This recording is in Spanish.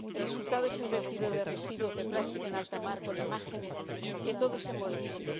El resultado es el vertido de residuos de plástico en alta mar con imágenes que todos hemos visto.